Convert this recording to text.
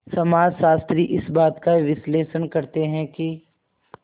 समाजशास्त्री इस बात का विश्लेषण करते हैं कि